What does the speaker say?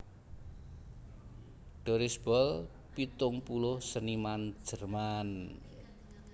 Doris Boll pitung puluh seniman Jerman